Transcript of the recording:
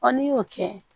n'i y'o kɛ